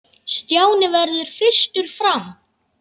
Stjáni varð fyrstur fram.